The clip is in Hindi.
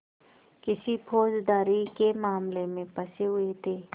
किसी फौजदारी के मामले में फँसे हुए थे